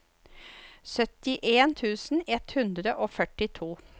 syttien tusen ett hundre og førtito